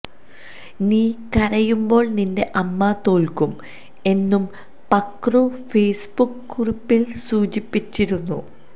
നീ കരയുമ്പോൾ നിന്റെ അമ്മ തോൽക്കും എന്നും പക്രു ഫേസ്ബുക്ക് കുറിപ്പിൽ സൂചിപ്പിച്ചിരുന്നു